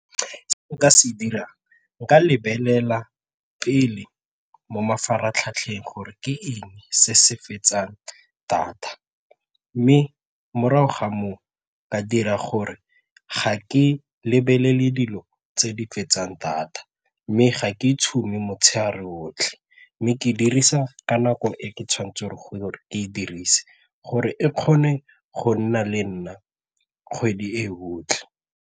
Se nka se dirang, nka lebelela pele mo mafaratlhatlheng gore ke eng se se fetsang data mme morago ga moo ka dira gore ga ke lebelele dilo tse di fetsang data mme ga ke tshume motshegare otlhe mme ke dirisa ka nako e ke tshwanetseng go e dirise gore e kgone go nna le nna kgwedi e otlhe.